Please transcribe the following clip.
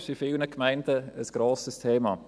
Dies ist in vielen Gemeinden ein grosses Thema.